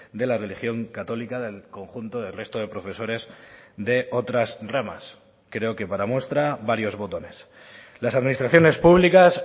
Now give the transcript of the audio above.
de la religión católica del conjunto del resto de profesores de otras ramas creo que para muestra varios botones las administraciones públicas